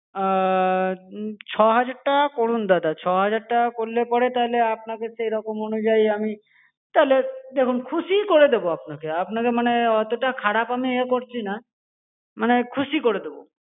আআ ছ হাজার টাকা করুন দাদা ছ হাজার টাকা করলে পরে তাহলে আপনাকে সেইরকম অনুযায়ী আমি তাহলে দেখুন খুশিই করে দেব আপনাকে, আপনাকে মানে অতটা খারাপ আমি এ করছি না মানে খুশি করে দেব.